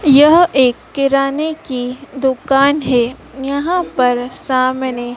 यह एक किराने की दुकान है। यहां पर सामने--